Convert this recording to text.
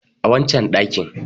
a wancan dakin